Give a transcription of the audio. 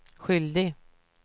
skyldig